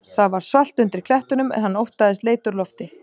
Það var svalt undir klettunum en hann óttaðist leit úr lofti.